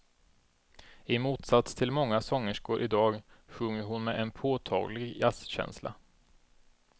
I motsats till många sångerskor idag sjunger hon med en påtaglig jazzkänsla.